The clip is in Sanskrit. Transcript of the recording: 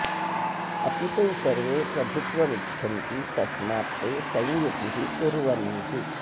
अपि ते सर्वे प्रभुत्वम् इच्छन्ति तस्मात् ते संयुतिः कुर्वन्ति